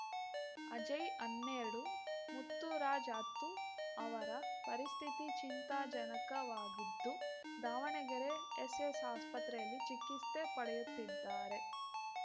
ಅಜಯ್‌ ಹನ್ನೆರಡು ಮುತ್ತರಾಜು ಹತ್ತು ಅವರ ಪರಿಸ್ಥಿತಿ ಚಿಂತಾಜನಕವಾಗಿದ್ದು ದಾವಣಗೆರೆ ಎಸ್‌ಎಸ್‌ಆಸ್ಪತ್ರೆಯಲ್ಲಿ ಚಿಕಿಸ್ತೆ ಪಡೆಯುತ್ತಿದ್ದಾರೆ